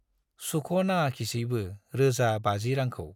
सुख' नाङाखिसैबो रोजा बाजि रांखौ।